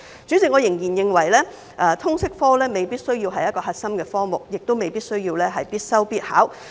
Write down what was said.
主席，我仍然認為通識科未必需要是核心科目，也未必需要必修必考。